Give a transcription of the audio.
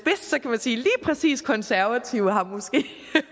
lige præcis de konservative har